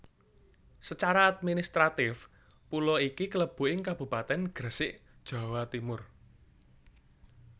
Secara administratif pulo iki klebu ing Kabupatèn Gresik Jawa Timur